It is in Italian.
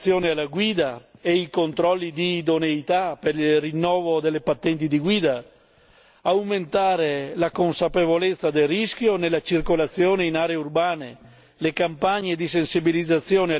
Dobbiamo migliorare il percorso di formazione alla guida e i controlli di idoneità per il rinnovo delle patenti di guida, aumentare la consapevolezza del rischio nella circolazione in aree urbane